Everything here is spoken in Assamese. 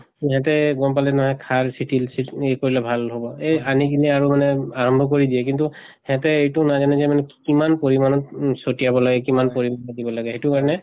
ইহঁতে গম পালে নহয় সাৰ চিতিল চিত এ কৰিলে ভাল হব । এহ আনি কিনে আৰু মানে আৰম্ব কৰি দিয়ে কিন্তু সিহঁতে এইটো নাজানে যে মানে কিমান পৰিমানত উ চতিয়াব লাগে, কিমান পৰি দিব লাগে সেইটো কাৰণে